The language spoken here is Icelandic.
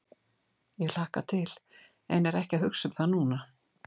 Ég hlakka til en er ekki að hugsa um það núna.